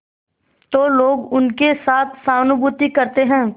तो लोग उनके साथ सहानुभूति करते हैं